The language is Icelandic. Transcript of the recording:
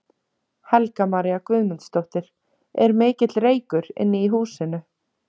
Helga María Guðmundsdóttir: Er mikill reykur inni í húsinu?